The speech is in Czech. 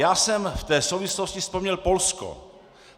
Já jsem v té souvislosti vzpomněl Polsko.